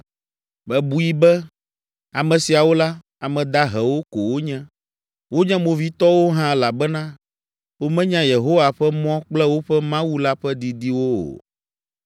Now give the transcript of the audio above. Mebui be, “Ame siawo la, ame dahewo ko wonye. Wonye movitɔwo hã elabena womenya Yehowa ƒe mɔ kple woƒe Mawu la ƒe didiwo o.